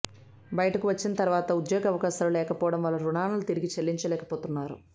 బయటకు వచ్చిన తర్వాత ఉద్యోగావకాశాలు లేకపోవడం వల్ల రుణాలను తిరిగి చెల్లించలేకపోతున్నారు